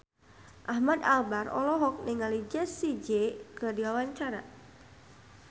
Ahmad Albar olohok ningali Jessie J keur diwawancara